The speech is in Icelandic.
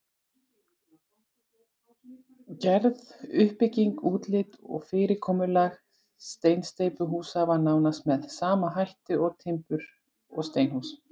Gerð, uppbygging, útlit og fyrirkomulag steinsteypuhúsa var nánast með sama hætt og timbur- og steinhúsa.